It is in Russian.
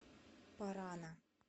парана